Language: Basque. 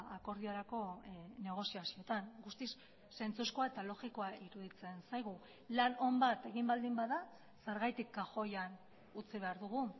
akordiorako negoziazioetan guztiz zentzuzkoa eta logikoa iruditzen zaigu lan on bat egin baldin bada zergatik kajoian utzi behar dugu